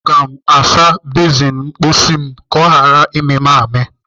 Aga m asa bezin ịwụ ahụ m ka ọ ghara ịmị m amị.